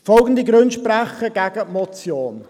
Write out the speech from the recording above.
Folgende Gründe sprechen gegen die Motion: